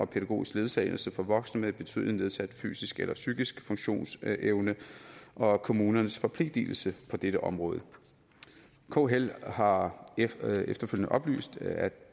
pædagogisk ledsagelse for voksne med betydelig nedsat fysisk eller psykisk funktionsevne og kommunernes forpligtelse på dette område kl har efterfølgende oplyst at